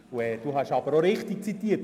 Sie haben mich richtig zitiert: